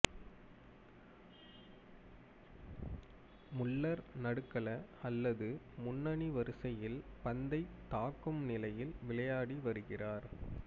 Muller நடுக்கள அல்லது முன்னணி வரிசையில் பந்தைத் தாக்கும் நிலையில் விளையாடி வருகிறார்